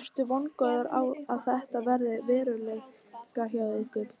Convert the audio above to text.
Ertu vongóður á að þetta verði að veruleika hjá ykkur?